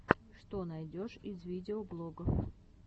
что найдешь из видеоблогов